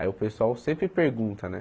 Aí o pessoal sempre pergunta, né?